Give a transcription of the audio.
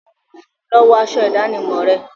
Lọ wọ aṣọ ìdánimọ̀ rẹ!